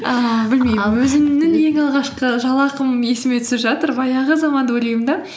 ііі білмеймін өзімнің ең алғашқы жалақым есіме түсіп жатыр баяғы заманды ойлаймын да